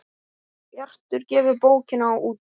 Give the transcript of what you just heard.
Bjartur gefur bókina út.